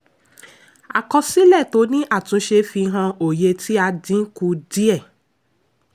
àkọsílẹ̀ tó ní àtúnṣe fi hàn oye tí a dín kù díẹ̀.